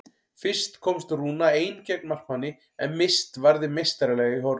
Fyrst komst Rúna ein gegn markmanni en Mist varði meistaralega í horn.